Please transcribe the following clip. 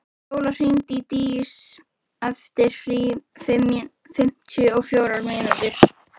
Fjóla, hringdu í Dís eftir fimmtíu og fjórar mínútur.